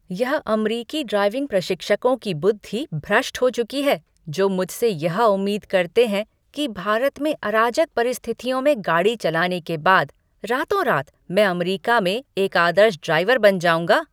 यह अमरीकी ड्राइविंग प्रशिक्षकों की बुद्धि भ्रष्ट हो चुकी है जो मुझसे यह उम्मीद करते हैं कि भारत में अराजक परिस्थितियों में गाड़ी चलाने के बाद रातोंरात मैं अमरीका में एक आदर्श ड्राइवर बन जाऊँगा।